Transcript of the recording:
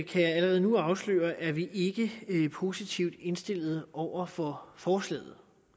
kan jeg allerede nu afsløre er vi ikke er positivt indstillet over for forslaget